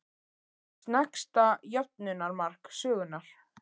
Sneggsta jöfnunarmark sögunnar?